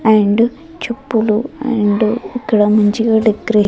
and చెప్పులు and ఇక్కడ మంచిగా డెకరే--